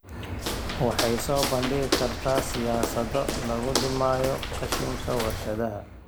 Waxay soo bandhigi kartaa siyaasado lagu dhimayo qashinka warshadaha.